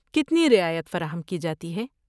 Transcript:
کتنی رعایت فراہم کی جاتی ہے؟